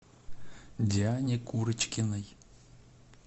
диане курочкиной